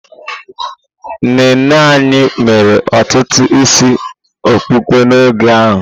Nne nne anyị mere ọtụtụ isi okpokpo n'oge ha.